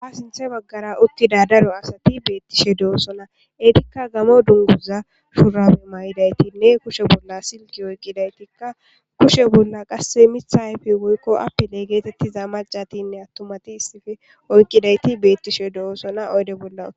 ha sinthe baggara uttida daro asati beettishe do7osona etikka gamo dunguza shuurame may7idaytinne kushe bolla sike oykkidaytikka kushe bolla qasse mitha ayfe woykko apile geetettiza macatinne attumati issife oykkidayti beettishe do7osona oyde bolla